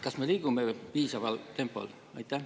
Kas me liigume piisavas tempos?